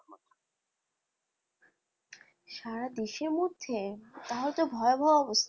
সারা দেশের মধ্যে? তাহলে তো ভয়াবহ অবস্থা,